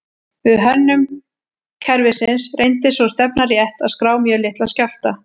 Við hönnun kerfisins reyndist sú stefna rétt að skrá mjög litla skjálfta.